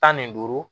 Tan ni duuru